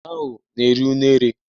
Enwe ahụ na-eri unere.